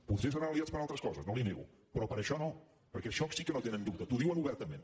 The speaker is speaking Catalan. potser seran aliats per altres coses no li ho nego però per això no perquè en això sí que no tenen dubte t’ho diuen obertament